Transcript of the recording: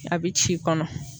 A bi ci kɔnɔ.